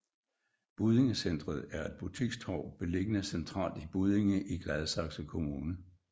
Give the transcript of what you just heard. Buddinge Centret er et butikstorv beliggende centralt i Buddinge i Gladsaxe Kommune